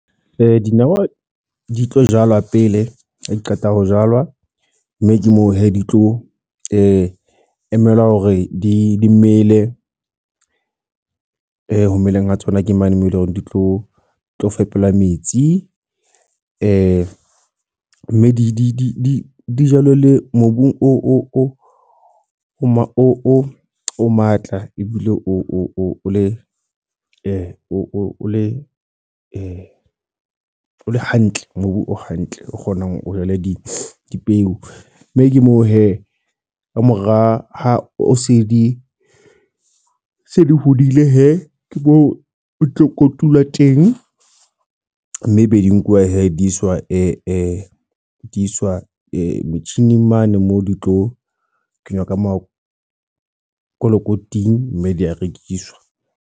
Dinawa di tlo jalwa pele, ha di qeta ho jalwa. Mme ke moo he di tlo emela hore di mmele. Ho meleng ho tsona ke mane moo eleng hore di tlo tlo fepela metsi. Mme di dijalellwe mobung o matla. Ebile o le o o le o le hantle. Mobu o hantle, o kgonang o jale di dipeo. Mme ke moo he kamora ha o se di se di hodile he. Ke moo o tlo kotula wa teng. Mme e be di nkuwa he di iswa di iswa metjhini mane moo di tlo kenywa ka makolokoting mme di ya rekiswa.